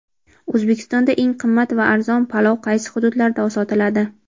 O‘zbekistonda eng qimmat va arzon palov qaysi hududlarda sotiladi?.